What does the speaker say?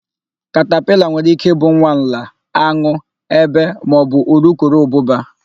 Katapila nwere íké ị bụ nwa nla, an̄ụ, ébé maọbụ urukurubụba.